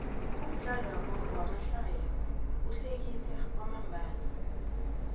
umdlalo wamahlaya uhlekisa kwamambalo